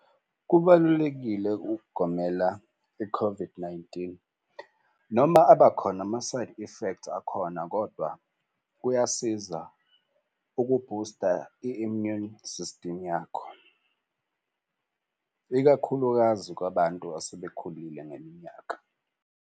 Kubalulekile ukugomela i-COVID-19 noma abakhona ama-side effects akhona, kodwa kuyasiza ukubhusta i-immune system yakho. Ikakhulukazi kwabantu asebekhulile ngeminyaka.